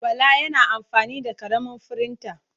Bala yana amfani da ƙaramin firinta.